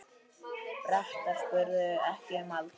Bretar spurðu ekki um aldur.